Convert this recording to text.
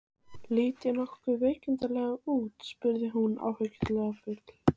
Lít ég nokkuð veiklulega út? spurði hún áhyggjufull.